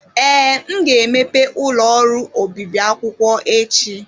Ee, m ga-emepe ụlọ ọrụ obibi akwụkwọ echi.